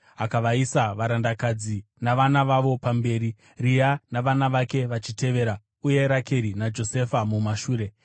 Akaisa varandakadzi navana vavo pamberi, Rea navana vake vachitevera, uye Rakeri naJosefa mumashure.